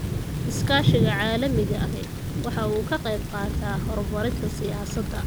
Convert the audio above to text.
Iskaashiga caalamiga ahi waxa uu ka qayb qaataa horumarinta siyaasadda.